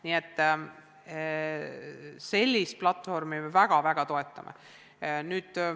Nii et sellist platvormi me tõesti väga toetame.